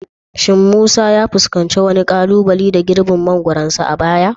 Shin Musa ya fuskanci wani kalubale da girbin mangoronsa a baya?